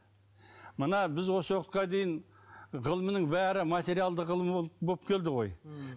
мына біз осы уақытқа дейін ғылымның бәрі материалды ғылым болып келді ғой ммм